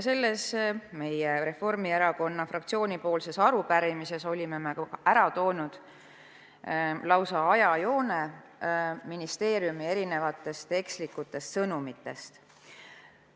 Selles Reformierakonna fraktsiooni arupärimises oleme välja toonud lausa ajajoone ministeeriumi eksitavatest sõnumitest.